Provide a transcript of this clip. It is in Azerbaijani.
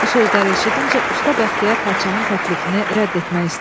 Bu sözləri eşidincə usta Bəxtiyar padşahın təklifini rədd etmək istədi.